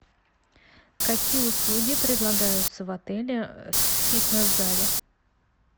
какие услуги предлагаются в отеле в фитнес зале